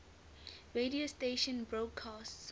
radio broadcast stations